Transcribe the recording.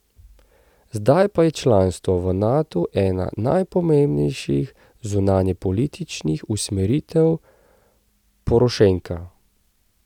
Zdaj pa je članstvo v Natu ena najpomembnejših zunanjepolitičnih usmeritev Porošenka.